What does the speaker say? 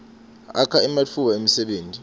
akha ematfuba emsebenti